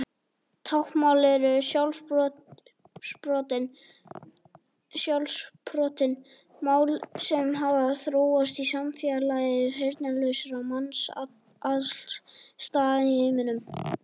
Táknmál eru sjálfsprottin mál sem hafa þróast í samfélagi heyrnarlausra manna alls staðar í heiminum.